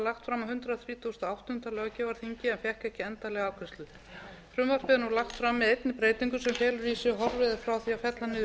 fram með einni breytingu sem felur í sér að horfið er frá því að fella niður